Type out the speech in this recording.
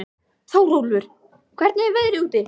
Þórólfur, hvernig er veðrið úti?